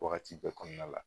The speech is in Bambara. Wagati bɛ kɔnɔna la